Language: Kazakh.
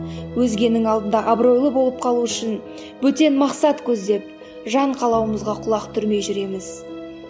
өзгенің алдында абыройлы болып қалу үшін бөтен мақсат көздеп жан қалауымызға құлақ түрмей жүреміз